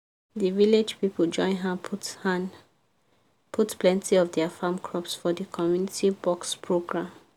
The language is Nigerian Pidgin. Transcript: the village people join hand put hand put plenty of their farm crops for the community box program.